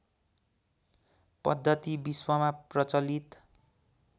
पद्धति विश्वमा प्रचलित